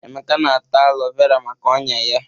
Emeka na-ata alo vera maka ọ́nyá ya.